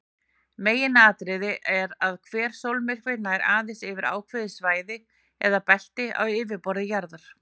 Meginatriðið er að hver sólmyrkvi nær aðeins yfir ákveðið svæði eða belti á yfirborði jarðar.